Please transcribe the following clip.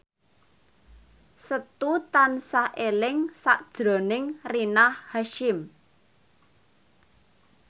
Setu tansah eling sakjroning Rina Hasyim